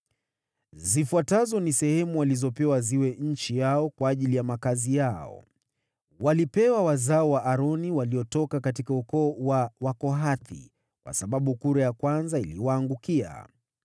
Zifuatazo ni sehemu walizopewa ziwe nchi yao kwa ajili ya makazi yao (walipewa wazao wa Aroni waliotoka katika ukoo wa Wakohathi, kwa sababu kura ya kwanza iliwaangukia):